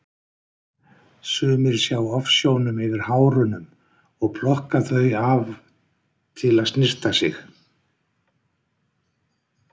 Sumir sjá ofsjónum yfir hárunum og plokka þau af til að snyrta sig.